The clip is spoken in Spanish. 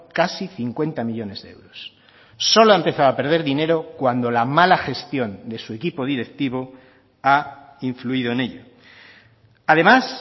casi cincuenta millónes de euros solo ha empezado a perder dinero cuando la mala gestión de su equipo directivo ha influido en ello además